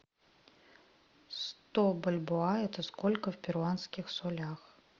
сто бальбоа это сколько в перуанских солях